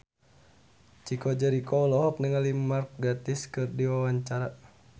Chico Jericho olohok ningali Mark Gatiss keur diwawancara